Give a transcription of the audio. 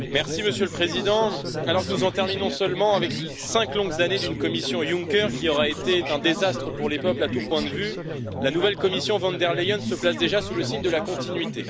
Monsieur le Président, alors que nous en terminons seulement avec cinq longues années d'une Commission Juncker, qui aura été un désastre pour les peuples à tous points de vue, la nouvelle Commission von der Leyen se place déjà sous le signe de la continuité.